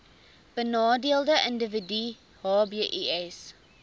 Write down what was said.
benadeelde individue hbis